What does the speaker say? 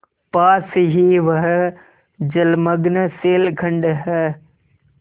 पास ही वह जलमग्न शैलखंड है